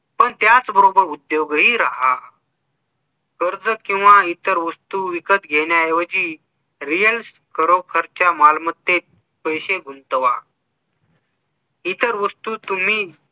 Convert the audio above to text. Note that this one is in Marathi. पण त्याच बरोबर उदयगही राहा कर्ज किंवा इतर वस्तू विकत घेण्याऐवजी reals core च्या मालमत्तेत पैसे गुंतवा इतर वस्तू तुम्ही